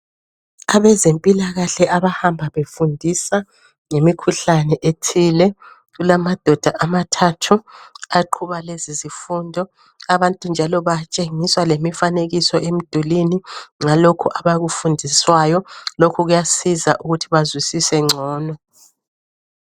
abezempilakahle abahamba befundisa ngemikhuhlane ethile kulamadoda amathathu aqhuba lezi zimfundo abantu njalo batshengiswa lemifanekiso emidulwini ngalokho abakufundiswayo lokho kuyasiza ukuthi bezwisise ncono